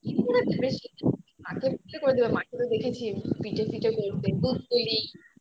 মাকে দেখেছি পিঠে ফিঠে করতে দুধপুলি